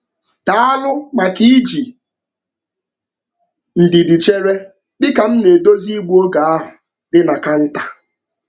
Daalụ maka iji ndidi chere dị ka m na-edozi igbu oge ahụ dị na kanta.